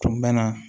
Tun bɛ na